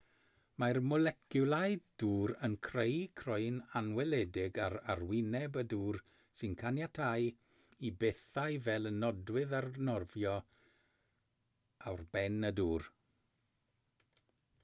mae'r moleciwlau dŵr yn creu croen anweledig ar arwyneb y dŵr sy'n caniatáu i bethau fel y nodwydd arnofio ar ben y dŵr